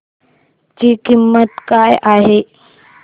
ची किंमत काय आहे